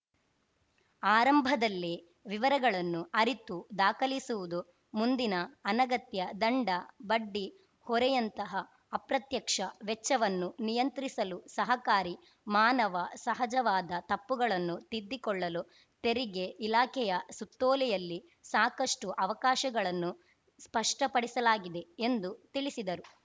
ಆರಂಭದಲ್ಲೇ ವಿವರಗಳನ್ನು ಅರಿತು ದಾಖಲಿಸುವುದು ಮುಂದಿನ ಅನಗತ್ಯ ದಂಡ ಬಡ್ಡಿ ಹೊರೆಯಂತಹ ಅಪ್ರತ್ಯಕ್ಷ ವೆಚ್ಚವನ್ನು ನಿಯಂತ್ರಿಸಲು ಸಹಕಾರಿ ಮಾನವ ಸಹಜವಾದ ತಪ್ಪುಗಳನ್ನು ತಿದ್ದಿಕೊಳ್ಳಲು ತೆರಿಗೆ ಇಲಾಖೆಯ ಸುತ್ತೋಲೆಯಲ್ಲಿ ಸಾಕಷ್ಟುಅವಕಾಶಗಳನ್ನು ಸ್ಪಷ್ಟಪಡಿಸಲಾಗಿದೆ ಎಂದು ತಿಳಿಸಿದರು